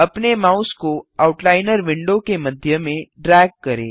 अपने माउस को outliner window के मध्य में ड्रैग करें